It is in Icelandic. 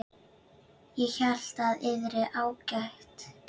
Ég hélt að yðar hátign.